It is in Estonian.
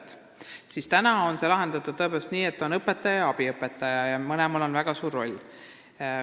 Praegu on see tõepoolest nii lahendatud, et seal on olemas õpetaja ja abiõpetaja ning mõlemal on väga suur roll.